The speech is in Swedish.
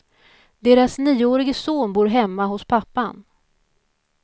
Deras nioårige son bor hemma hos pappan.